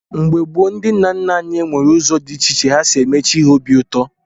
Mgbe gboo, ndị nna nna anyị were ụzọ dị iche iche ha si eme chi ha obi ụtọ.